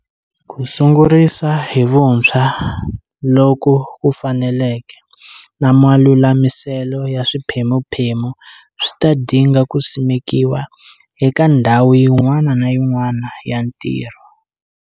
Ku sungurisa hi vuntshwa loku faneleke na malulamiselo ya swiphemuphemu swi ta dinga ku simekiwa eka ndhawu yin'wana na yin'wana ya ntirho.